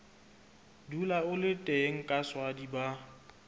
dula a le teng kaswadi ba